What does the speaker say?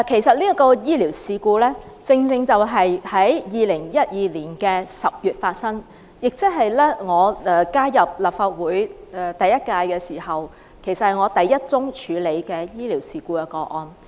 這宗醫療事故在2012年10月發生，是我加入立法會後處理的首宗醫療事故個案。